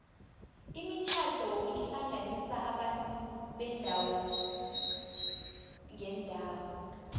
imitjhado ihlanganisa abantu beendawo ngeendawo